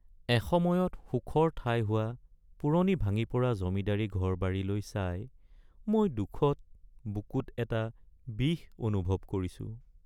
এসময়ত সুখৰ ঠাই হোৱা পুৰণি ভাঙি পৰা জমিদাৰি ঘৰ-বাৰীলৈ চাই মই দুখত বুকুত এটা বিষ অনুভৱ কৰিছোঁ।